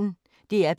DR P1